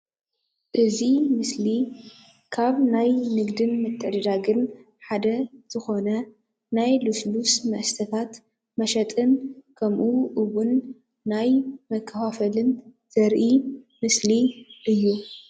እዚ ምስሊ ካብ ናይ ንግድን ምትዕድዳግን ሓደ ዝኮነ ናይ ልሱሉስ መስተታት መሸጥን ከምኡ ውን ናይ መከፋፈልን ዘርኢ ምስሊእዩ፡፡